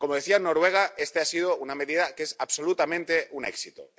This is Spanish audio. Como decía, en Noruega esta ha sido una medida que es absolutamente un éxito.